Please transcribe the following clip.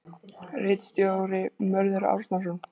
Ritstjóri: Mörður Árnason.